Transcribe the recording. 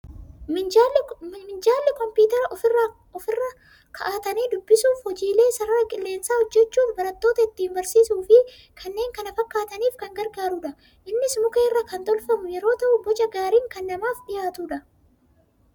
Minjaalli kompiitara ofii irra kaa'atanii dubbisuuf, hojiilee sarara qilleensaa hojjechuuf, barattoota ittiin barsiisuu fi kannneen kana fakaataniif kan gargaarudha. Innis muka irraa kan tolfamu yeroo ta'u, boca gaariin kan namaaf dhiyaatudha!